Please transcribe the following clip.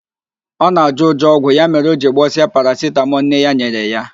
Ọ na-ajọ ụjọ ọgwụ, ya mere o jiri gbọsịa parasitamọl nne ya nyere ya.